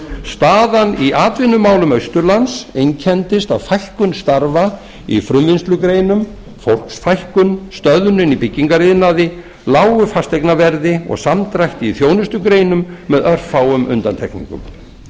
staðan í atvinnumálum austurlands einkenndist af fækkun starfa í frumvinnslugreinum fólksfækkun stöðnun í byggingariðnaði lágu fasteignaverði og samdrætti í þjónustugreinum með örfáum undantekningum